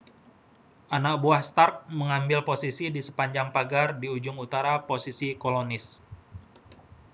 anak buah stark mengambil posisi di sepanjang pagar di ujung utara posisi kolonis